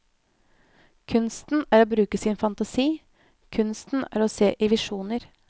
Kunsten er å bruke sin fantasi, kunsten er å se i visjoner.